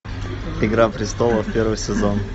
игра престолов первый сезон